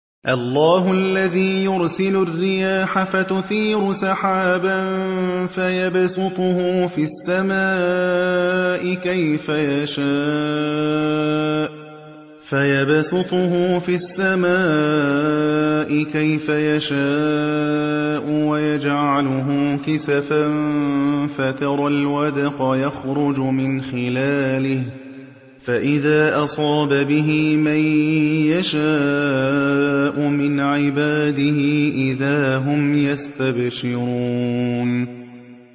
اللَّهُ الَّذِي يُرْسِلُ الرِّيَاحَ فَتُثِيرُ سَحَابًا فَيَبْسُطُهُ فِي السَّمَاءِ كَيْفَ يَشَاءُ وَيَجْعَلُهُ كِسَفًا فَتَرَى الْوَدْقَ يَخْرُجُ مِنْ خِلَالِهِ ۖ فَإِذَا أَصَابَ بِهِ مَن يَشَاءُ مِنْ عِبَادِهِ إِذَا هُمْ يَسْتَبْشِرُونَ